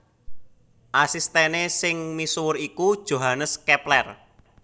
Asistèné sing misuwur iku Johannes Kepler